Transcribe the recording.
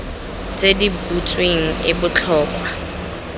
tse di butsweng e botlhokwa